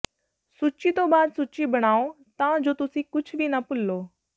ਸੂਚੀ ਤੋਂ ਬਾਅਦ ਸੂਚੀ ਬਣਾਓ ਤਾਂ ਜੋ ਤੁਸੀਂ ਕੁਝ ਵੀ ਨਾ ਭੁਲੋ